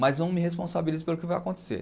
Mas não me responsabilizo pelo que vai acontecer.